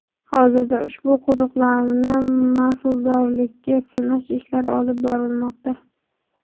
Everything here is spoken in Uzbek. Hozirda ushbu quduqlarni mahsuldorlikka sinash ishlari olib borilmoqda.